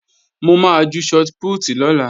Mo máa ju shọt pútì lọ́la